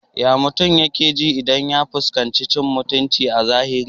Ya mutum yake ji idan ya fuskanci cin muutunci a zahiri?